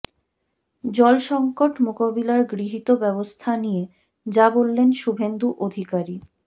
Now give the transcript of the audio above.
জল সঙ্কট মোকাবিলার গৃহীত ব্যবস্থা নিয়ে যা বললেন শুভেন্দু অধিকারী